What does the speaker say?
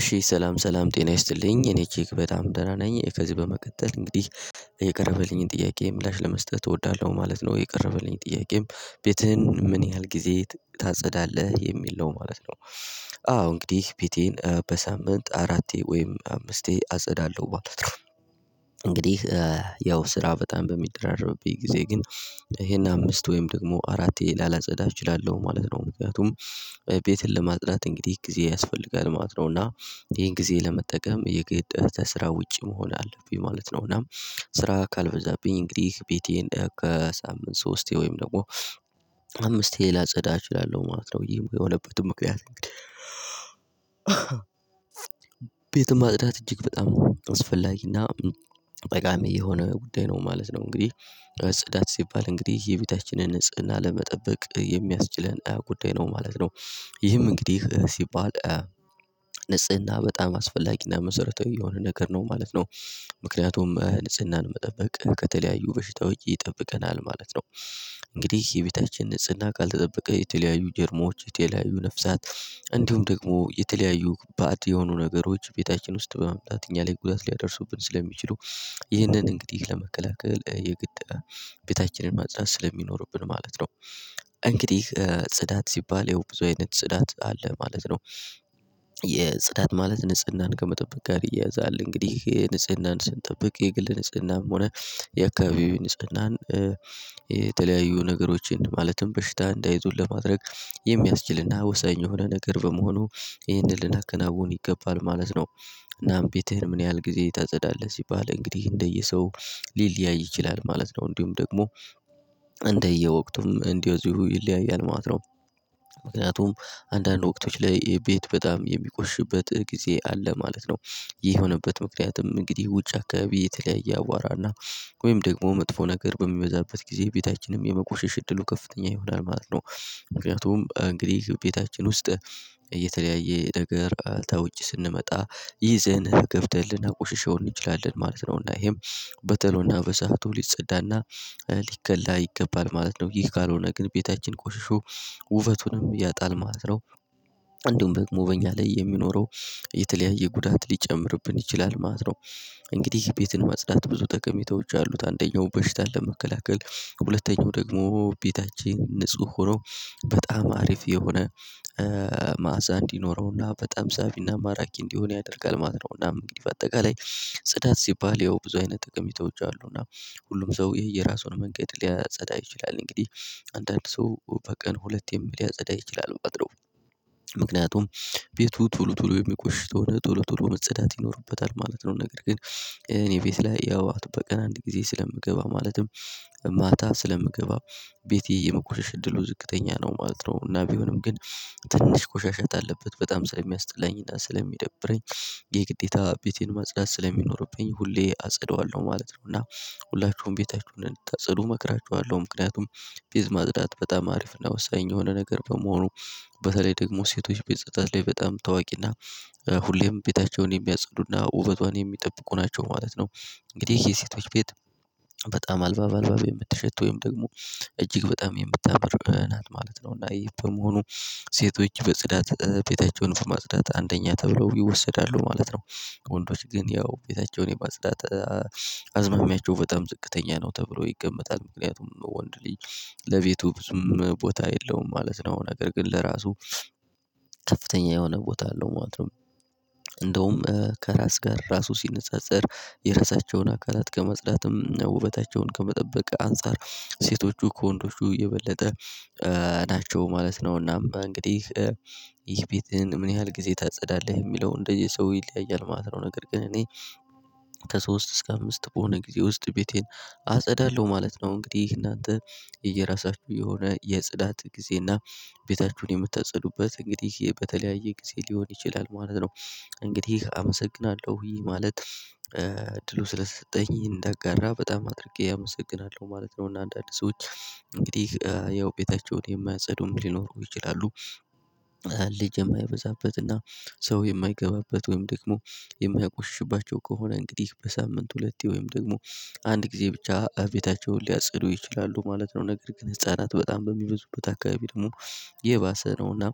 እሺ ሰላም ሰላም ጤና ይስጥልኝ እኔ እጅግ በጣም ደህና ነኝ ከዚህ በመቀጠል እንግዲህ የቀረበልኝን ጥያቄ ምላሽ ለመስጠት እወዳለሁ ማለት ነው። የቀረበልኝ ጥያቄም ቤትህን ምን ያህል ጊዜ ታጸዳለህ የሚል ነው ማለት ነው? አዎ እንግዲህ ቤቴን በሳምንት አራቴ ወይም አምስቴ አጸዳለሁ። ባለፈው። እንግዲህ ያው ስራ በጣም በሚደራረብብኝ ጊዜ ግን ይሄን አምስት ወይም ደግሞ አራትየ ላላጸዳ እችላለሁ ማለት ነው። ምክንያቱም ቤትን ለማጽዳት እንግዲህ ጊዜ ያስፈልጋል ማለት ነው። እና ይሄን ጊዜ ለመጠቀም የግድ ስራ ውጪ መሆን አለብኝ ማለት ነው። እና ስራ ካልበዛብኝ እንግዲህ ቤቴን ከሳምንት ሶስቴ ወይም ደግሞ አምስቴ ላጸዳ እችላለሁ ማለት ነው። የሆነበትን ምክንያት እንግዲህ ቤት ማጽዳት እጅግ በጣም ነው አስፈላጊና ጠቃሚ የሆነ ጉዳይ ነው ማለት ነው። እንግዲህ ጽዳት ሲባል እንግዲህ የቤታችንን ንጽህና ለመጠበቅ የሚያስችለን ጉዳይ ነው ማለት ነው። ይህም እንግዲህ ሲባል ንጽህና በጣም አስፈላጊና መሰረታዊ የሆነ ነገር ነው ማለት ነው። ምክንያቱም ንጽህናን መጠበቅ ከተለያዩ በሽታዎች ይጠብቀናል ማለት ነው። እንግዲህ የቤታችን ንጽህና ካልተጠበቀ የተለያዩ ጀርሞች የተለያዩ ነፍሳት እንዲሁም ደግሞ የተለያዩ ባእድ የሆኑ ነገሮች ቤታችን ውስጥ በመምጣት እኛ ላይ ጉዳት ሊያደርሱብን ስለሚችሉ። ይህንን እንግዲህ ለመከላከል የግድ ቤታችንን ማጽዳት ስለሚኖርብን ማለት ነው። እንግዲህ ጽዳት ሲባል ያው ብዙ አይነት ጽዳት አለ ማለት ነው። የጽዳት ማለት ንጽህናን ከመጠበቅ ጋር ይያያዛል። እንግዲህ ንጽህናን ስንጠብቅ የግል ንጽህናም ሆነ የአካባቢው ንጽህናን የተለያዩ ነገሮችን ማለትም በሽታ እንዳይዙን ለማድረግ የሚያስችልና ወሳኝ የሆነ ነገር በመሆኑ ይህንን ልናከናውን ይገባል ማለት ነው። እናም ቤትህን ምን ያህል ጊዜ ታጸዳለህ ሲባል እንግዲህ እንደየሰው ሊለያይ ይችላል ማለት ነው። እንዲሁም ደግሞ እንደየወቅቱም እንደዚሁ ይለያያል ማለት ነው። ምክንያቱም አንዳንድ ወቅቶች ላይ ቤት በጣም የሚቆሽበት ጊዜ አለ ማለት ነው። ይህ የሆነበት ምክንያትም እንግዲህ ውጭ አካባቢ የተለያየ አቧራና ወይም ደግሞ መጥፎ ነገር በሚበዛበት ጊዜ ቤታችንም የመቆሸሽ እድሉ ከፍተኛ ይሆናል ማለት ነው። ምክንያቱም እንግዲህ ውስጥ እየተለያየ ነገር ተውጪ ስንመጣ ይዘን ገብተን ላናቆሽሸው እንችላለን ማለት ነው። እና ይሄም በጥሩና በሰአቱ ሊጸዳና ሊከላ ይገባል ማለት ነው። ይሄ ካልሆነ ግን ቤታችን ቆሽሾ ውበቱንም ያጣል ማለት ነው። አንዱም ደግሞ በኛ ላይ የሚኖረው የተለያየ ጉዳት ሊጨምርብን ይችላል ማለት ነው። እንግዲህ ቤትን ማጽዳት ብዙ ጠቀሜታዎች አሉት። አንደኛው በሽታ ለመከላከል ሁለተኛው ደግሞ ቤታችን ንጹህ ሆኖ በጣም አሪፍ የሆነ መዕዛ እንዲኖረውና በጣም ሳቢና ማራኪ እንዲሆን ያደርጋል። ማለት ነውና እንግዲህ በአጠቃላይ ጽዳት ሲባል ያው ብዙ አይነት ጥቅም ይተውቻሉ እና ሁሉም ሰው የየራሱን መንገድ ሊያጸዳ ይችላል። እንግዲህ አንዳንድ ሰው በቀን ሁለቴም ሊያጸዳ ይችላል በቃ አድሮ ምክንያቱም ቤቱ ቶሎ ቶሎ የሚቆሽሸው ቶሎ ቶሎ መጽዳት ይኖርበታል ማለት ነው። ነገር ግን እኔ ቤት ላይ ያው በቀን አንድ ጊዜ ስለምገባ ማለትም ማታ ስለምገባ ቤቴ የምቆሸሽ እድሉ ዝቅተኛ ነው ማለት ነው። እና ቢሆንም ግን ትንሽ ቆሻሻ ካለበት በጣም ስለሚያስጥላኝና ስለሚደብረኝ የግዴታ ቤቴን ማጽዳት ስለሚኖርብኝ ሁሌ አጸደዋለሁ ማለት ነው። እና ሁላችሁም ቤታችሁን እንድታጸዱ እመክራችኋለሁ ምክንያቱም በዚህ ማጽዳት በጣም አሪፍ ነው። ወሳኝ የሆነ ነገር በመሆኑ በተለይ ደግሞ ሴቶች ቤት ጸጥታ ላይ በጣም ታዋቂና ሁሌም ቤታቸውን የሚያጸዱና ውበቷን የሚጠብቁ ናቸው ማለት ነው። እንግዲህ የሴቶች ቤት በጣም አልባብ አልባብ የምትሸተው ወይም ደግሞ እጅግ በጣም የምታምር ናት ማለት ነው። እና በመሆኑ ሴቶች በጽዳት ቤታቸውን ማጽዳት አንደኛ ተብለው ይወሰዳሉ ማለት ነው። ወንዶች ግን ያው ቤታቸውን የማስዳት አዝማሚያቸው በጣም ዝቅተኛ ነው ተብሎ ይገመታል ምክንያቱም በወንድ ልጅ ለቤቱ ብዙ ቦታ የለውም ማለት ነው። ነገር ግን ለራሱ ከፍተኛ የሆነ ቦታ አለው ማለት ነው። እንደውም ከራስ ጋር ራሱ ሲነጻጸር የራሳቸውን አካላት ከመጽዳትም ውበታቸውን ከመጠበቅ አንፃር ሴቶቹ ከወንዶቹ የበለጠ ናቸው ማለት ነው። እናም ይህ ቤትህን ምን ያህል ጊዜ ታጸዳለህ የሚለውን እንደየ ሰው ይለያያል ማለት ነው። ነገር ግን እኔ ከሶስት እስከ አምስት በሆነ ጊዜ ውስጥ ቤቴን አጸዳለሁ ማለት ነው። እንግዲህ ይህን እናንተ እየራሳችሁ የሆነ የጽዳት ጊዜ እና ቤታችሁን የምታጸዱበት እንግዲህ በተለያየ ጊዜ ሊሆን ይችላል ማለት ነው። እንግዲህ አመሰግናለሁ ይሄ ማለት እድሉ ስለሰጠኝ እንዳጋራ በጣም አድርጌ አመሰግናለሁ ማለት ነው። እና አንዳንድ ሰዎች እንግዲህ ያው ቤታቸውን የማያጸዱም ሊኖሩ ይችላሉ። ልጅ የማይበዛበትና ሰው የማይገባበት ወይም ደግሞ የማያቆሽሽባቸው ከሆነ እንግዲህ በሳምንት ሁለቴ ወይም ደግሞ አንድ ጊዜ ብቻ ቤታቸውን ሊያጸዱ ይችላሉ ማለት ነው። ነገር ግን ህፃናት በጣም በሚበዙበት አካባቢ ደግሞ የባሰ ነውና